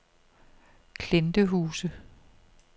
Klintehuse